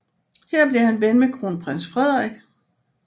Her blev han ven med kronprins Frederik